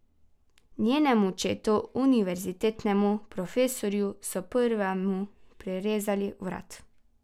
Njenemu očetu, univerzitetnemu profesorju, so prvemu prerezali vrat.